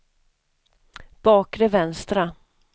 bakre vänstra